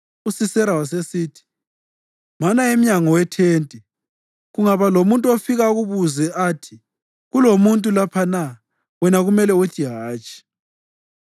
USisera wasesithi, “Mana emnyango wethente. Kungaba lomuntu ofika akubuze athi, ‘Kulomuntu lapha na?’ wena kumele uthi ‘Hatshi.’ ”